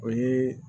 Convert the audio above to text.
O ye